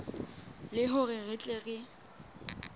le hore re tle re